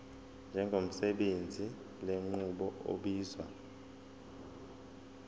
njengosebenzisa lenqubo obizwa